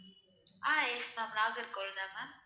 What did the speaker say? ஆஹ் yes ma'am நாகர்கோவில்தான் ma'am